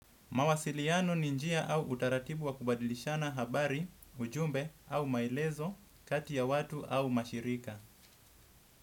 Mawasiliano ni njia au utaratibu wa kubadilishana habari, ujumbe au maelezo kati ya watu au mashirika.